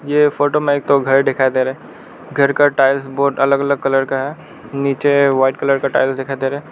ये फोटो में एक तो घर दिखाई दे रहा घर का टाइल्स बहुत अलग अलग कलर का है नीचे वाइट कलर का टाइल्स दिखाई दे रहा --